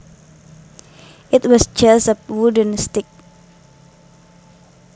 It was just a wooden stick